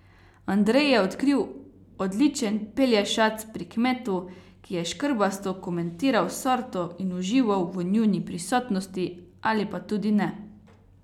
Andrej je odkril odličen pelješac pri kmetu, ki je škrbasto komentiral sorto in užival v njuni prisotnosti, ali pa tudi ne.